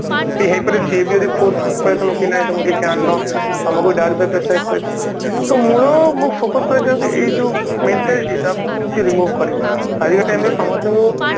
କି ହେଇ ପାରେ ସେ ବି ଯଦି force କରୁଥାଏ ତମକୁ କି ନାଇଁ ତମେ କିଛି ଆଣିନ ତମକୁ ଦାଉରୀ ପାଇଁ pressure rise କରିବ ତ ମୂଳ ମୁଁ focused କରିବାକୁ ଚାହୁଁଛି ଏ ଯୋଉ mentality ତାକୁ କେମତି remove କରିବା ଆଜିକ time ରେ ସମସ୍ତେ